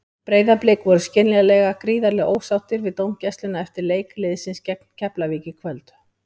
Breiðablik voru skiljanlega gríðarlega ósáttir við dómgæsluna eftir leik liðsins gegn Keflavík í kvöld.